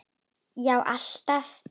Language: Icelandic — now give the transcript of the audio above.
Já, alltaf.